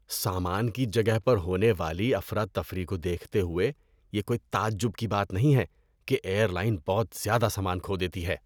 سامان کی جگہ پر ہونے والی افراتفری کو دیکھتے ہوئے، یہ کوئی تعجب کی بات نہیں ہے کہ ایئر لائن بہت زیادہ سامان کھو دیتی ہے۔